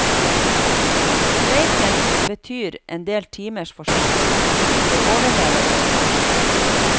Streiken betyr endel timers forsinkelser, det overlever jeg vel.